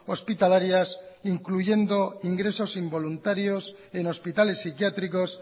hospitalarias incluyendo ingresos involuntarios en hospitales psiquiátricos